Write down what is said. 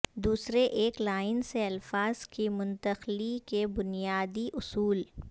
دوسرے ایک لائن سے الفاظ کی منتقلی کے بنیادی اصول